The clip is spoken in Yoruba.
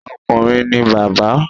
Okùnrin ni bàbá